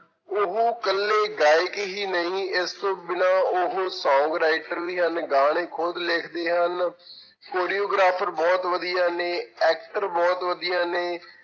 ਉਹ ਇਕੱਲੇ ਗਾਇਕ ਹੀ ਨਹੀਂ ਇਸ ਤੋਂ ਬਿਨਾਂ ਉਹ song writer ਵੀ ਹਨ, ਗਾਣੇ ਖੁਦ ਲਿਖਦੇ ਹਨ choreographer ਬਹੁਤ ਵਧੀਆ ਨੇ actor ਬਹੁਤ ਵਧੀਆ ਨੇ,